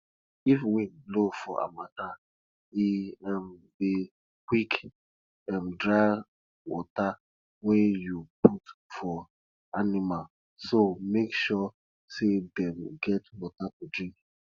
if wind blow for harmattan e um dey quick um dry water wey you put for animals so make sure say dem get water to drink